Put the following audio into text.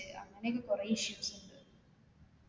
അങ്ങനെയൊക്കെ കൊറേ issues ഉണ്ട്